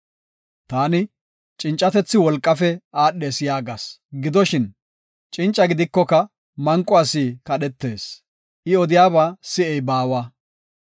Taani, “Cincatethi wolqaafe aadhees” yaagas. Gidoshin, cinca gidikoka manqo asi kadhetees; I odiyaba si7ey baawa.